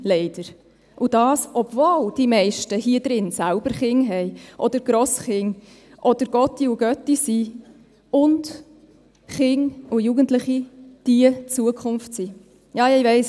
Dies, obwohl die meisten hier drin selber Kinder haben, oder Enkelkinder, oder Pate oder Patin sind, und Kinder und Jugendliche unsere Zukunft sind.